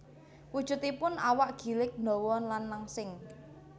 Wujudipun awak gilig ndawa lan langsing